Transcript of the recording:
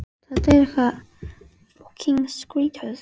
Hvernig var andrúmsloftið?